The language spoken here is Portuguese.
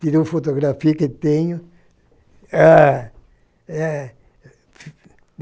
Tirou fotografia que tenho. Ah eh